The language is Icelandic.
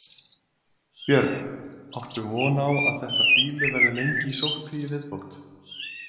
Björn: Áttu von á að þetta býli verði lengi í sóttkví í viðbót?